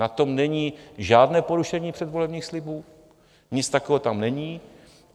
Na tom není žádné porušení předvolebních slibů, nic takového tam není.